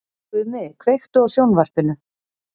Gumi, kveiktu á sjónvarpinu.